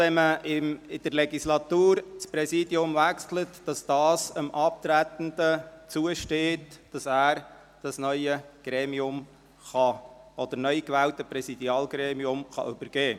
Wenn man das Präsidium während der Legislatur wechselt, steht es dem Abtretenden zu, ans neu gewählte Präsidialgremium zu übergeben.